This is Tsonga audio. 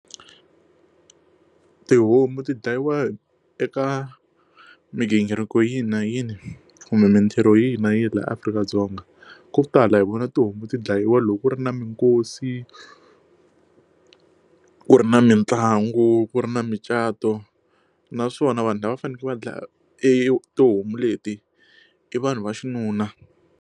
Tihomu ti dlayiwa eka migingiriko yini na yini kumbe mintirho yihi na yihi laha Afrika-Dzonga ko tala hi vona tihomu ti dlayiwa loko ku ri na minkosi ku ri na mitlangu ku ri na micato naswona vanhu lava faneleke va dlaya e tihomu leti i vanhu va xinuna.